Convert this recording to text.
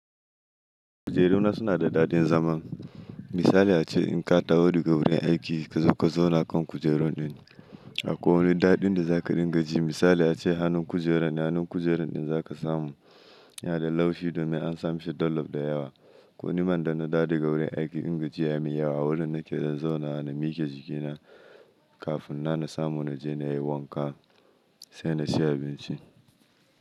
Kujeru na suna da daɗin zaman. Misali ace in ka taho daga wurin aiki ka zo ka zauna kan kujerun din. Akwai wani daɗin da za ka dinga ji. Misali ace hannun kujeran, hannun kujeran din za ka samu. Yana da laushi domin an samashi dollop da yawa. Ko nimar da na daɗe ga wurin aiki, in gajiya mai yawa a wurin nake zan zauna na mike jikina kafin na nasamu na je na yi wanka sai na ci abinci.